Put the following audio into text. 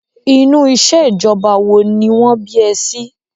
Inú ìṣèjọba wo ni wọ́n bí ẹ sí?